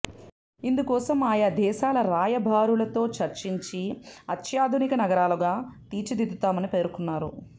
ఇందుకోసం ఆయా దేశాల రాయబారులతో చర్చించి అత్యాధునిక నగరాలుగా తీర్చిదిద్దుతామని పేర్కొన్నారు